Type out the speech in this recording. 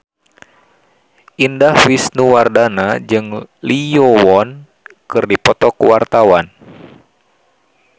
Indah Wisnuwardana jeung Lee Yo Won keur dipoto ku wartawan